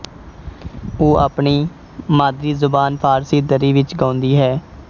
ਉਹ ਆਪਣੀ ਮਾਦਰੀਜ਼ਬਾਨ ਫ਼ਾਰਸੀ ਦਰੀ ਵਿੱਚ ਗਾਉਂਦੀ ਹੈ